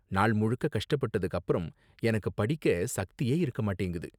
நாள் முழுக்க கஷ்டப்பட்டதுக்கு அப்பறம், எனக்கு படிக்க சக்தியே இருக்க மாட்டேங்குது.